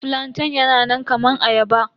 Flantain yana nan kaman ayaba.